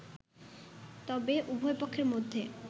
তবে উভয় পক্ষের মধ্যে